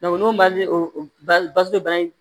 n'o man di o bangebaa ye